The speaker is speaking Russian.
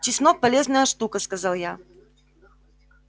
чеснок полезная штука сказал я